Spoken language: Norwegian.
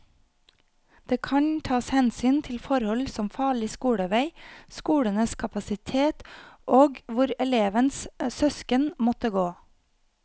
Det kan tas hensyn til forhold som farlig skolevei, skolenes kapasitet og hvor elevens søsken måtte gå.